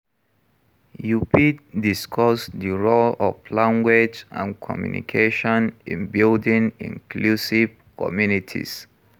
You fit discuss di role of language and communication in building inclusive communities.